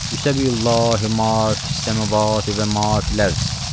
Yusəbihu lillahi ma fis-səmavati və ma fil-ərz.